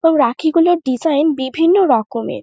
এবং রাখি গুলোর ডিসাইন বিভিন্ন রকমের।